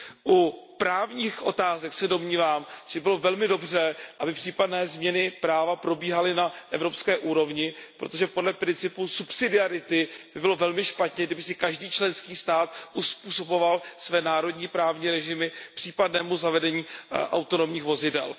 U právních otázek se domnívám, že by bylo velmi dobře, aby případné změny práva probíhaly na evropské úrovni, protože podle principu subsidiarity by bylo velmi špatně, kdyby si každý členský stát uzpůsoboval své národní právní režimy případnému zavedení autonomních vozidel.